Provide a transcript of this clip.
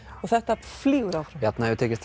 þetta flýgur áfram Bjarni hefur tekist